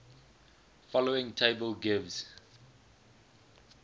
following table gives